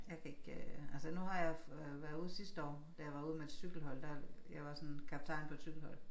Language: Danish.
Jeg kan ikke øh altså nu har jeg været ude sidste år da jeg var ude med et cykelhold der jeg var sådan kaptajn på et cykelhold